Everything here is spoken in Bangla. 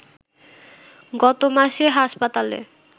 গত মাসে হাসপাতালে